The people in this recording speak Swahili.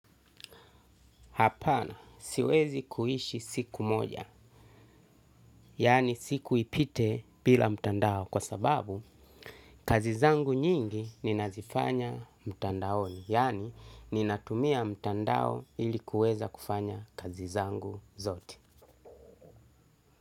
Hapana, siwezi kuhishi siku moja, yani siku ipite bila mtandao kwa sababu kazi zangu nyingi ninazifanya mtandaoni, yani ninatumia mtandao ili kuweza kufanya kazi zangu zote.